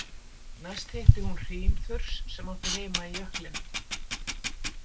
Næst hitti hún Hrímþurs sem átti heima í jöklinum.